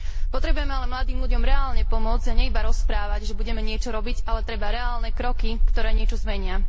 Potrebujeme ale mladým ľuďom reálne pomôcť, a nie iba rozprávať, že budeme niečo robiť, ale treba reálne kroky, ktoré niečo zmenia.